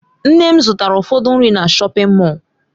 Nne m zụtara ụfọdụ nri na shọpin Mọll.